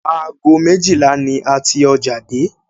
Aago méjìlá ni a ti ọjà dé